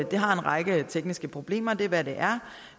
det har en række tekniske problemer det er hvad det